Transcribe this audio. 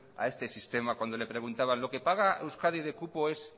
a este sistema cuando le preguntaban lo que paga euskadi de cupo es